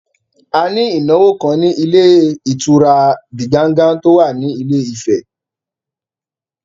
A ní ìnáwó kan ní ilé ìtura Diganga tó wà ní Ilé Ifẹ̀